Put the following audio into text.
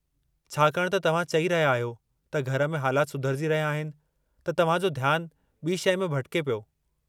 छाकाणि त तव्हां चई रहिया आहियो त घर में हालाति सुधरिजी रहिया आहिनि, त तव्हां जो ध्यानु ॿी शइ में भिटिके पियो।